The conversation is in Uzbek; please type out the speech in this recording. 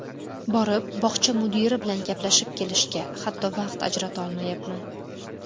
Borib bog‘cha mudiri bilan gaplashib kelishga, hatto, vaqt ajratolmayapman.